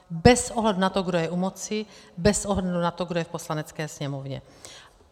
Bez ohledu na to, kdo je u moci, bez ohledu na to, kdo je v Poslanecké sněmovně.